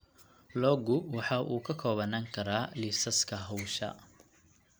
Loggu waxa uu ka koobnaan karaa liisaska hawsha.